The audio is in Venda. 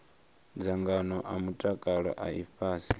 dzangano a mutakalo a ifhasi